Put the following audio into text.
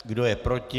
Kdo je proti?